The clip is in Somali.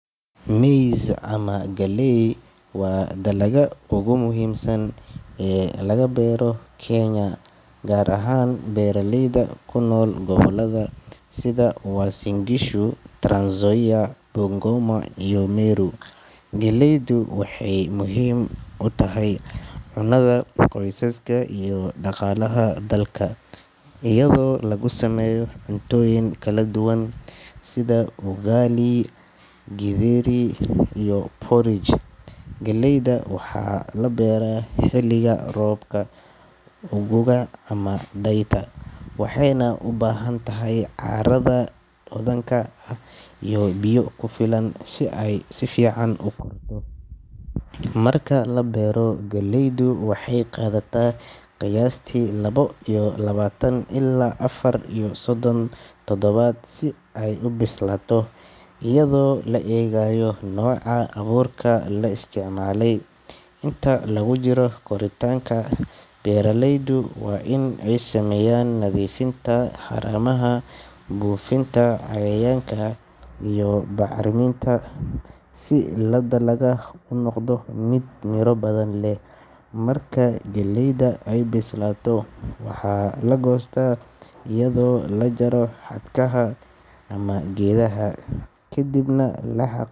Maize ama galley waa dalagga ugu muhiimsan ee laga beero Kenya, gaar ahaan beeraleyda ku nool gobollada sida Uasin Gishu, Trans Nzoia, Bungoma, iyo Meru. Galleydu waxay muhiim u tahay cunnada qoysaska iyo dhaqaalaha dalka, iyadoo lagu sameeyo cuntooyin kala duwan sida ugali, githeri iyo porridge. Galleyda waxaa la beeraa xilliga roobka guga ama dayrta, waxayna u baahan tahay carrada hodanka ah iyo biyo ku filan si ay si fiican u korto. Marka la beero, galleydu waxay qaadataa qiyaastii laba iyo labaatan ilaa afar iyo soddon toddobaad si ay u bislaato, iyadoo la eegayo nooca abuurka la isticmaalay. Inta lagu jiro koritaanka, beeraleydu waa in ay sameeyaan nadiifinta haramaha, buufinta cayayaanka iyo bacriminta si dalagga uu u noqdo mid miro badan leh. Marka galleyda ay bislaato, waxaa la goostaa iyadoo la jaro xadhkaha ama geedaha, kadibna la qalaj.